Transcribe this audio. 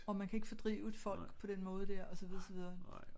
Og man kan ikke fordrive et folk på den måde dér og så videre og så videre